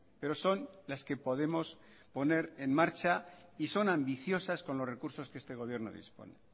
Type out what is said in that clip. pero son las que podemos poner en marcha y son ambiciosas con los recursos que este gobierno dispone